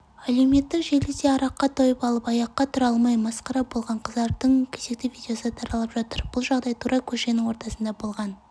әлеуметтік желіде араққа тойып алып аяққа тұра алмай масқара болған қыздардың кезекті видеосы таралып жатыр бұл жағдай тура көшенің ортасында болған